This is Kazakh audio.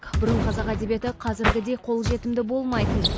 бұрын қазақ әдебиеті қазіргідей қолжетімді болмайтын